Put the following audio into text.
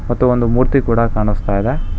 ಮತ್ತು ಒಂದು ಮೂರ್ತಿ ಕೊಡ ಕಾಣಿಸ್ತಾ ಇದೆ.